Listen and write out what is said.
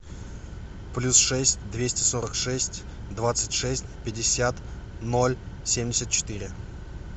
плюс шесть двести сорок шесть двадцать шесть пятьдесят ноль семьдесят четыре